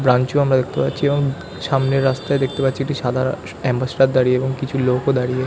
Branch ও আমরা দেখতে পাচ্ছি এবং সামনের রাস্তায় দেখতে পাচ্ছি একটা সাদা অ্যাম্বাসেডর দাঁড়িয়ে এবং কিছু লোক ও দাঁড়িয়ে।